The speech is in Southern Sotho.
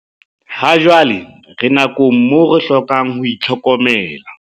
Hajwale re nakong moo re hlokang ho itlhokomela.